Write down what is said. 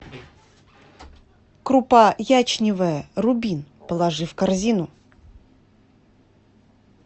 крупа ячневая рубин положи в корзину